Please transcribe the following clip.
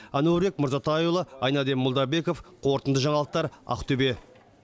әнуарбек мырзатайұлы айнадин молдабеков қорытынды жаңалықтар ақтобе